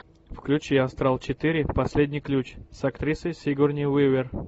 включи астрал четыре последний ключ с актрисой сигурни уивер